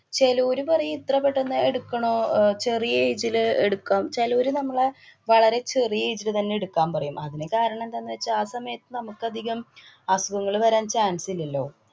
ചെലോര് പറയും ഇത്ര പെട്ടന്ന് എടുക്കണോ? അഹ് ചെറിയ ഇതില് എടുക്കാം. ചെലോര് നമ്മളെ വളരെ ചെറിയ age ല് തന്നെ എടുക്കാന്‍ പറയും. അതിനു കാരണം എന്താന്നു വച്ചാല് ആ സമയത്ത്ന നമുക്കധികം അസുഖങ്ങള് വരാന്‍ chance ഇല്ലല്ലോ.